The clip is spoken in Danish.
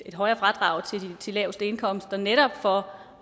højere fradrag til de laveste indkomster netop for